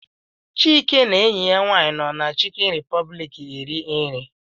Chike na enyi ya nwaanyị nọ na Chicken Republic eri nri.